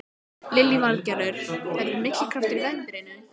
Lillý Valgerður: Verður mikill kraftur í veðrinu?